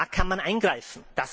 Da kann man eingreifen.